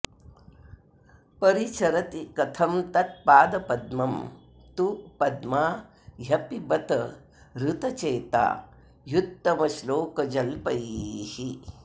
परिचरति कथं तत्पादपद्मं तु पद्मा ह्यपि बत हृतचेता ह्युत्तमश्लोकजल्पैः